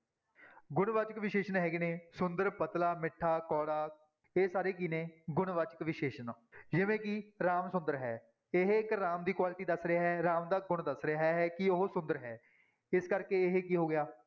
ਗੁਣਵਾਚਕ ਵਿਸ਼ੇਸ਼ਣ ਹੈਗੇ ਨੇ ਸੁੰਦਰ ਪਤਲਾ, ਮਿੱਠਾ, ਕੌੜਾ, ਇਹ ਸਾਰੇ ਕੀ ਨੇ ਗੁਣ ਵਾਚਕ ਵਿਸ਼ੇਸ਼ਣ ਜਿਵੇਂ ਕਿ ਰਾਮ ਸੁੰਦਰ ਹੈ, ਇਹ ਇੱਕ ਰਾਮ ਦੀ quality ਦੱਸ ਰਿਹਾ ਹੈ, ਰਾਮ ਦਾ ਗੁਣ ਦੱਸ ਰਿਹਾ ਹੈ ਕਿ ਉਹ ਸੁੰਦਰ ਹੈ, ਇਸ ਕਰਕੇ ਇਹ ਕੀ ਹੋ ਗਿਆ